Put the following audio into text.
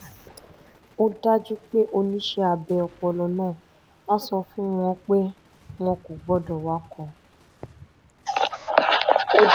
ó dájú pé oníṣẹ́ abẹ ọpọlọ náà á sọ fún wọn pé wọn kò gbọ́dọ̀ wakọ̀